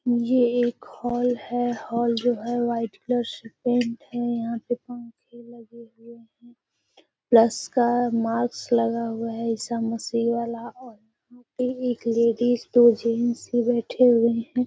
ये एक हॉल है। हॉल जो है वाइट् कलर से पेंट है। यहाँ पे पंखे लगे हुए हैं। प्लस का मार्कस लगा हुआ है ईसा मसिह वाला और यहाँ पे एक लाडिसे दो जेंट्स भी बैठे हुए हैं।